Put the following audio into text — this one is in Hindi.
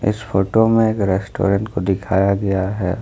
इस फोटो में एक रेस्टोरेंट को दिखाया गया है।